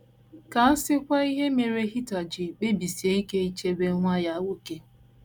Ka a sịkwa ihe mere Heather ji kpebisie ike ichebe nwa ya nwoke!